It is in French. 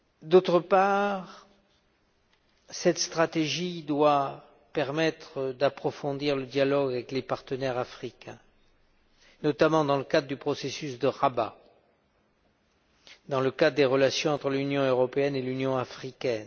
D'autre part, cette stratégie doit permettre d'approfondir le dialogue avec les partenaires africains, notamment dans le cadre du processus de Rabat, dans le cadre des relations entre l'Union européenne et l'Union africaine.